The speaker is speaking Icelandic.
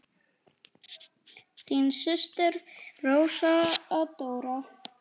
Þín systir Rósa Dóra.